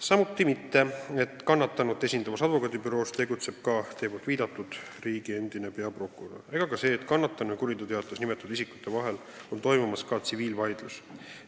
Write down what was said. Samuti mitte see, et kannatanut esindavas advokaadibüroos tegutseb teie viidatud endine riigi peaprokurör, ega ka see, et kannatanu ja kuriteoteates nimetatud isikute vahel käib tsiviilvaidlus.